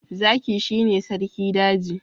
Zaki shi ne sarki daji.